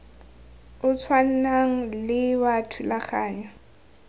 o tshwanang le wa thulaganyo